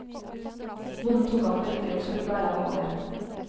Bonden tok ham på ryggen og skulle bære ham over.